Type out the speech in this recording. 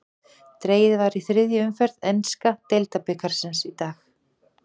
Dregið var í þriðju umferð enska deildabikarsins í dag.